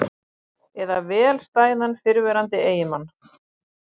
Eða vel stæðan fyrrverandi eiginmann?